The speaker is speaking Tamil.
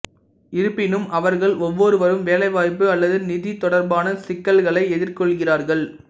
இருப்பினும் அவர்கள் ஒவ்வொருவரும் வேலைவாய்ப்பு அல்லது நிதி தொடர்பான சிக்கல்களை எதிர்கொள்கிறார்கள்